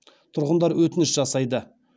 тұрғындар өтініш жасайды